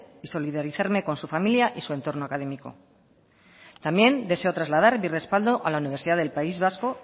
y solidarizarme con su familia y su entorno académico también deseo trasladar mi respaldo a la universidad del país vasco